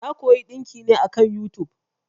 Na koyi ɗinki ne akan yutub.